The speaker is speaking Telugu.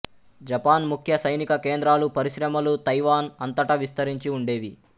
జపాన్ ముఖ్య సైనిక కేంద్రాలు పరిశ్రమలు తైవాన్ అంతటా విస్తరించి ఉండేవి